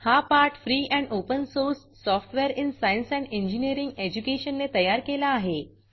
हा पाठ free and open source software in science and engineering education ने तयार केला आहे